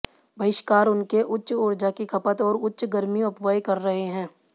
बहिष्कार उनके उच्च ऊर्जा की खपत और उच्च गर्मी अपव्यय कर रहे हैं